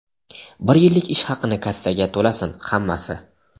bir yillik ish haqini kassaga to‘lasin hammasi.